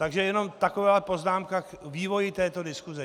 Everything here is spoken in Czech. Takže jenom taková poznámka k vývoji této diskuse.